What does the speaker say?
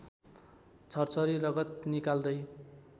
छर्छरी रगत निकाल्दै